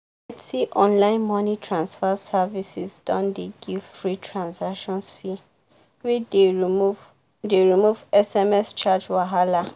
plenty online money transfer services don dey give free transactions fee wey dey remove dey remove sms charge wahala.